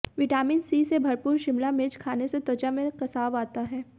vitamin C से भरपूर शिमला मिर्च खाने से त्वचा में कसाव आता है